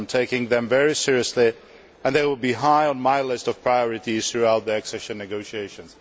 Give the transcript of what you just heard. I am taking them very seriously, and they will be high on my list of priorities throughout the accession negotiations.